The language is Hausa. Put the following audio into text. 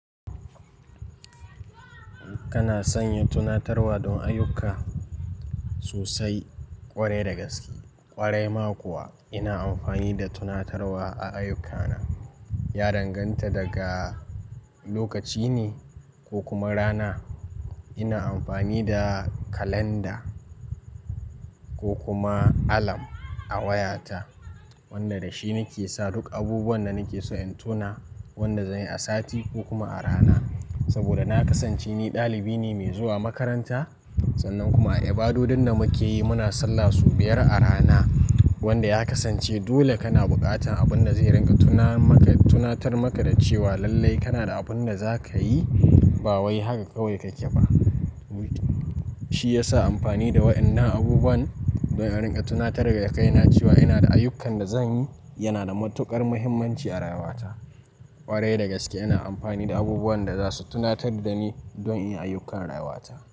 Kana sanya tunatarwa don ayyuka sosai, ƙwarai da gaske. Ƙwarai ma kuwa ina amfani da tunatarwa a ayyukana. Ya danganta daga lokaci ne ko kuma rana. Ina amfani da kalanda ko kuma alarm a wayata wanda da shi nake sa duk abubuwan da nake so in tuna wanda zan yi a sati ko kuma a rana. Saboda na kasance ni ɗalibi ne mai zuwa makaranta sannan kuma a ibadodun da muke yi muna sallah sau biyar a rana wanda ya kasance dole kana buƙatan abun da zai rinka tuna maka, tunatar maka da cewa lallai kana da abun da za ka yi ba wai haka kawai kake ba shi yasa amfani da wayannan abubuwan don a rinka tunatar da kai na cewa ina da ayyukan da zan yi yana da matuƙar muhimmanci a rayuwata. Ƙwarai da gaske ina amfani da abubuwan da za su tunatar da ni don in yi ayyukan rayuwata.